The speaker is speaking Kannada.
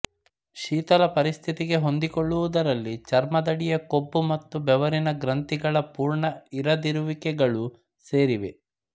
ಶೀತಲ ಪರಿಸ್ಥಿತಿಗೆ ಹೊಂದಿಕೊಳ್ಳುವದರಲ್ಲಿ ಚರ್ಮದಡಿಯ ಕೊಬ್ಬು ಮತ್ತು ಬೆವರಿನ ಗ್ರಂಥಿಗಳ ಪೂರ್ಣ ಇರದಿರುವಿಕೆಗಳೂ ಸೇರಿವೆ